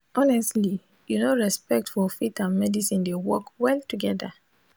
honestly you no respect for faith and medicine dey work well togeda